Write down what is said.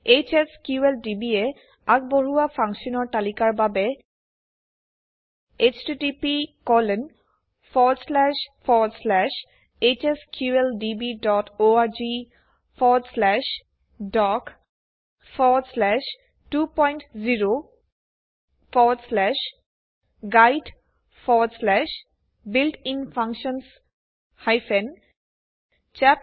HSQLdb এ আগবঢ়োৱা ফাংশ্যনৰ তালিকাৰ বাবে httphsqldborgdoc20guidebuiltinfunctions chapthtml অলৈ যাওক